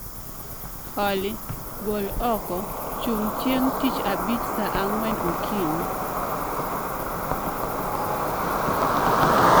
Olly, gol oko chung' chieng' tich abich saa ang'wen okinyi.